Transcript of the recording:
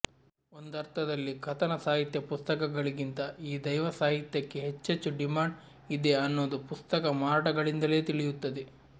ಒಂದರ್ಥದಲ್ಲಿ ಕಥನ ಸಾಹಿತ್ಯ ಪುಸ್ತಕಗಳಿಗಿಂತ ಈ ದೈವಸಾಹಿತ್ಯಕ್ಕೆ ಹೆಚ್ಚೆಚ್ಚು ಡಿಮ್ಯಾಂಡ್ ಇದೆ ಅನ್ನೋದು ಪುಸ್ತಕ ಮಾರಾಟಗಳಿಂದಲೇ ತಿಳಿಯುತ್ತದೆ